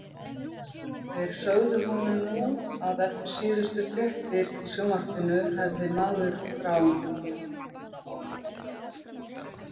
Þeir sögðu honum nú að eftir síðustu fréttir í sjónvarpinu hefði maður frá